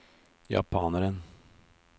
japaneren